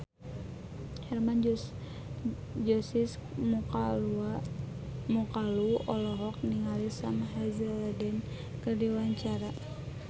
Hermann Josis Mokalu olohok ningali Sam Hazeldine keur diwawancara